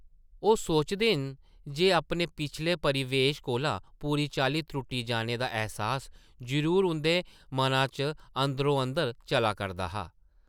ओह् सोचदे न जे अपने पिछले परिवेश कोला पूरी चाल्ली त्रुट्टी जाने दा ऐहसास जरूर उंʼदे मना च अंदरो-अंदर चला करदा हा ।